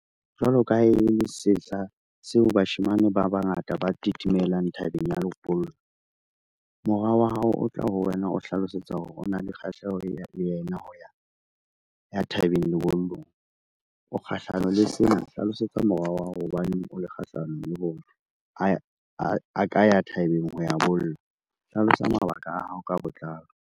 Jwalo ka ha e le sehla seo bashemane ba bangata ba tetemelang thabeng ya lebollo, mora wa hao o tla ho wena o hlalosetsa hore o na le kgahleho le yena ya thabeng lebollong. O kgahlano le sena, hlalosetsa mora hao ho ba neng o le kgahlano le ho re, a ka ya thabeng ho ya bolla hlalosa mabaka a hao ka botlalo.